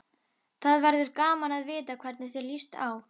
Það verður gaman að vita hvernig þér líst á.